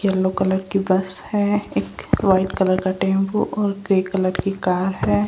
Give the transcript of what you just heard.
Yellow colour की bus है एक वाइट कलर का टेंपो और ग्रे कलर की कर है।